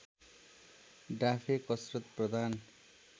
डाफे कसरत प्रधान